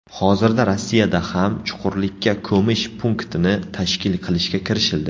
Hozirda Rossiyada ham chuqurlikka ko‘mish punktini tashkil qilishga kirishildi.